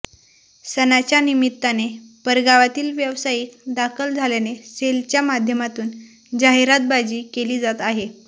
सणाच्या निमित्ताने परगावातील व्यावसायिक दाखल झाल्याने सेल च्या माध्यमातून जाहिरातबाजी केली जात आहे